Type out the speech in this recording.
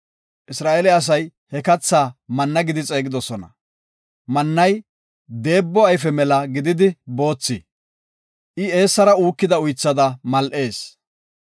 Isra7eele asay he katha manna gidi xeegidosona. Mannay deebo ayfe mela gididi boothi. I eessara uukida uythada mal7ees.